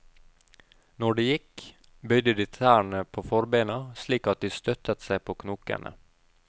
Når de gikk, bøyde de tærne på forbeina slik at de støttet seg på knokene.